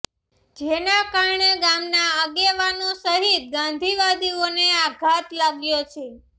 જેના કારણે ગામના આગેવાનો સહિત ગાંધીવાદીઓને આધાત લાગ્યો છે